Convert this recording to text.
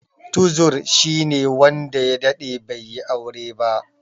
Tuzur shine wanda ya daɗe bai yi aure ba.